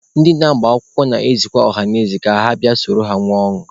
Ndị na-agbakwụkwọ na-ezikwa ọhanaeze ka ha bịa soro ha nwee ọṅụ.